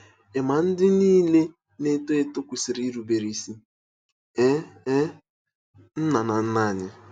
Ị̀ ma ndị niile na-eto eto kwesịrị irubere isi? — Ee, — Ee, nna na nne anyị.